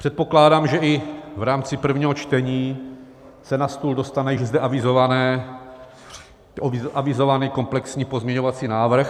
Předpokládám, že i v rámci prvního čtení se na stůl dostane již zde avizovaný komplexní pozměňovací návrh.